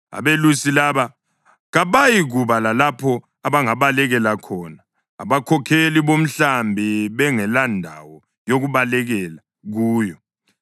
Abelusi laba kabayikuba lalapho abangabalekela khona, abakhokheli bomhlambi bengelandawo yokubalekela kuyo.